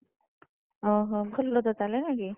ଓ ହୋ ଭଲ ତ ତାହେଲେ ନାଇଁକି?